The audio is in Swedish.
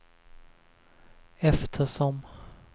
eftersom